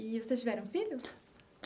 E vocês tiveram filhos?